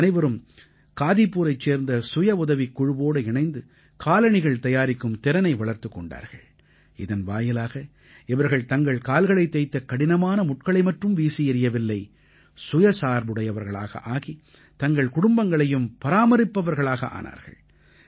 இவர்கள் அனைவரும் காதீபுரைச் சேர்ந்த சுயவுதவிக் குழுவோடு இணைந்து காலணிகள் தயாரிக்கும் திறனை வளர்த்துக் கொண்டார்கள் இதன் வாயிலாக இவர்கள் தங்கள் கால்களைத் தைத்த கடினமான முட்களை மற்றும் வீசியெறியவில்லை சுயசார்புடையவர்களாக ஆகி தங்கள் குடும்பங்களையும் பராமரிப்பவர்களாக ஆனார்கள்